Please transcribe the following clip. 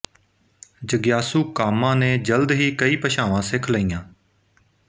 ਜਗਿਆਸੂ ਕਾਮਾ ਨੇ ਜਲਦ ਹੀ ਕਈ ਭਾਸ਼ਾਵਾਂ ਸਿੱਖ ਲਈਆਂ